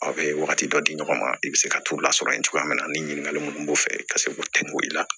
A bɛ wagati dɔ di ɲɔgɔn ma i bɛ se ka t'u lasɔrɔ yen cogoya min na ni ɲininkakali mun b'u fɛ ka se k'o dɛmɛ i la